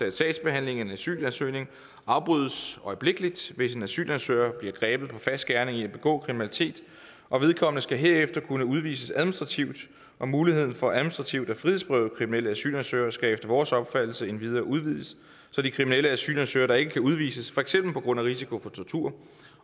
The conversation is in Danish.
at sagsbehandlingen af en asylansøgning afbrydes øjeblikkeligt hvis en asylansøger bliver grebet på fersk gerning i at begå kriminalitet og vedkommende skal herefter kunne udvises administrativt og muligheden for administrativt at frihedsberøve kriminelle asylansøgere skal efter vores opfattelse endvidere udvides så de kriminelle asylansøgere der ikke kan udvises for eksempel på grund af risiko for tortur